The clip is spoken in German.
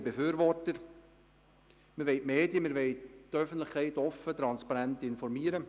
Wir wollen Medien und Öffentlichkeit offen und transparent informieren.